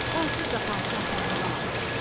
Onsuz da padşah pəhləvan axtarır.